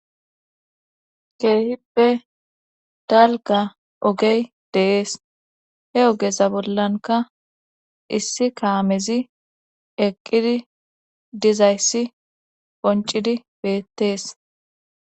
Keehippe dalga ogey deees he ogeza bollanka issi kaamezi eqqidi dizayssi qoncidi beettees.